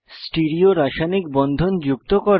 stereo রাসায়নিক বন্ধন যুক্ত করা